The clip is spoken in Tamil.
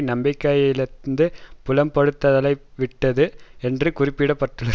நம்பிக்கையிழந்து புலம்பத்தலைப்பட்டுவிட்டது என்று குறிப்பிட்டுள்ளது